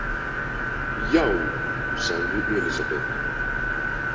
Já, sagði Elísabet.